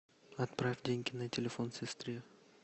отправь деньги на телефон сестре